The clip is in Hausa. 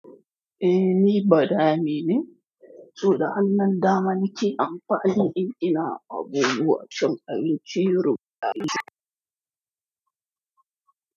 Eh ni badame ne, so da hannun dama nake amfani in ina abubuwa cin abinci yaro na isa.